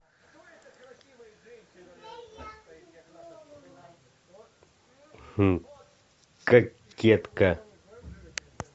кокетка